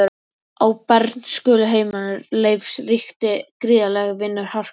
Á bernskuheimili Leifs ríkti gríðarleg vinnuharka.